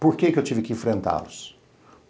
Por que eu tive que enfrentá-los?